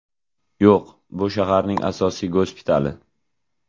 Yo‘q, bu shaharning asosiy gospitali”.